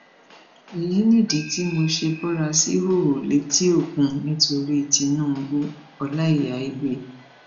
èyí nìdí tí mo ṣe bora síhòòhò létí òkun nítorí tinubuọláíyà igbe